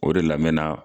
O de la n bɛ na